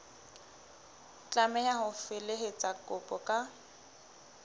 tlameha ho felehetsa kopo ka